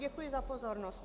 Děkuji za pozornost.